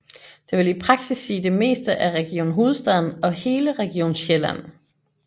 Det vil i praksis sige det meste af Region Hovedstaden og hele Region Sjælland